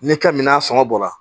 N'i ka minan sɔngɔ bɔra